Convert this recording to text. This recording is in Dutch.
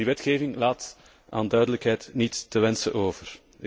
En die wetgeving laat aan duidelijkheid niets te wensen over.